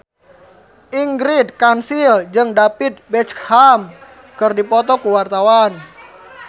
Ingrid Kansil jeung David Beckham keur dipoto ku wartawan